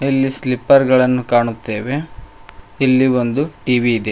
ಇಲ್ಲಿ ಸ್ಲಿಪ್ಪರ್ ಗಳನ್ನು ಕಾಣುತ್ತೇವೆ ಇಲ್ಲಿ ಒಂದು ಟಿ_ವಿ ಇದೆ.